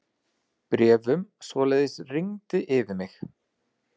Bréfunum svoleiðis rigndi yfir mig.